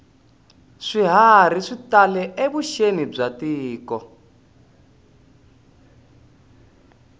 swiharhi swi tale evuxeni bya tiko